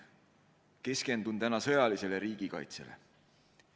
Keskendun täna sõjalisele riigikaitsele.